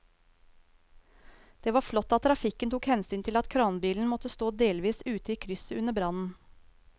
Det var flott at trafikken tok hensyn til at kranbilen måtte stå delvis ute i krysset under brannen.